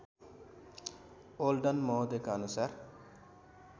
olden महोदयका अनुसार